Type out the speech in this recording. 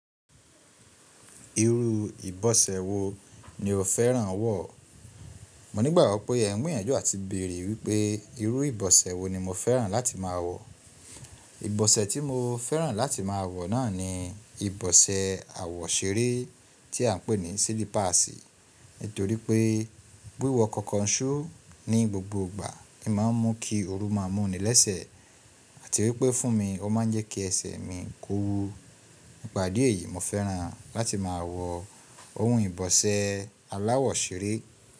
Irú ìbọ̀sẹ̀ wo ni o fẹ́ràn wọ̀? Mo nígbàgbo pé ẹ ń gbìyànjú àti bèèrè wípé irú ìbọ̀sẹ̀ wo ni mo fẹ́ràn láti máa wọ̀. Ìbọ̀sẹ̀ tí mo fẹ́ràn láti máa wọ̀ náà ni ìbọ̀sẹ̀ àwọ̀ṣeré tí a ń pè ní silipaasi. Nítorí pé wiwọ konkoṣú ní gbogbo ìgbà, n máa mún kí ooru máa mú ni lẹ́sẹ̀ àti wípé fún mi ó máa ń jẹ́ kí ẹsẹ̀ mi ń kowu. Nípa idi eyìí mo fẹ́ràn láti máa wọ ohun ìbọ̀sẹ̀ aláwọ̀ ṣeré.